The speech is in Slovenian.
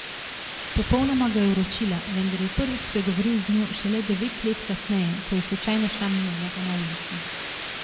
Popolnoma ga je uročila, vendar je prvič spregovoril z njo šele devet let kasneje, ko je slučajno šla mimo njega na ulici.